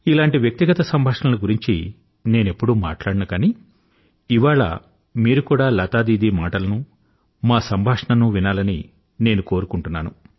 ఇలాంటి వ్యక్తిగత సంభాషణల గురించి నేనెప్పుడూ మాట్లాడను కానీ ఇవాళ మీరు కూడా లతా దీదీ మాటలను మా సంభాషణనూ వినాలని నేను కోరుకుంటున్నాను